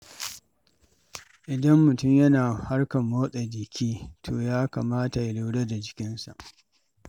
Idan mutum yana harkar motsa jiki, to ya kamata ya lura da jikinsa.